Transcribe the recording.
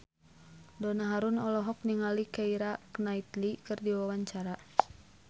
Donna Harun olohok ningali Keira Knightley keur diwawancara